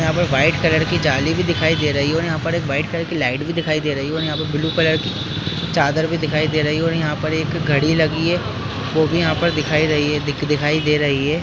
यहाँ पर white colour की जाली भी दिखाई दे रही है और यहाँ पर एक व्हाइट कलर की लाइट भी दिखाई दे रही है और यहाँ पर ब्लू कलर की चादर भी दिखाई दे रही है और यहाँ पर एक घड़ी लगी है वो भी यहाँ पर दिखाई रही है दिखाई दे रही है।